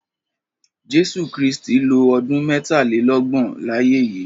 Jésú Krìstí ló ọdùn mètálélọgbọn láyè yi